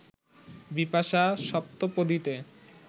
Bipasha, সপ্তপদীতে